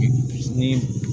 Ni